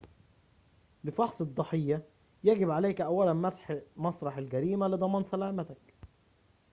لفحص الضحية يجب عليك أولاً مسح مسرح الجريمة لضمان سلامتك